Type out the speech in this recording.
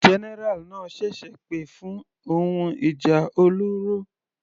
General náà ṣẹ̀ṣẹ̀ pè fún ohun ìjà olóró.